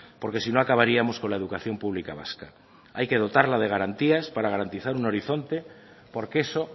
porque sino acabaríamos con la educación pública vasca hay que dotarla de garantías para garantizar un horizonte porque eso